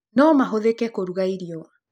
No mahũthĩke kũruga irio.